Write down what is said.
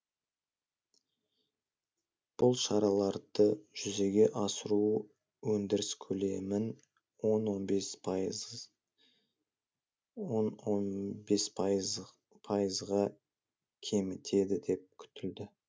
бұл шараларды жүзеге асыру өндіріс көлемін он он бес пайызға кемітеді деп күтілді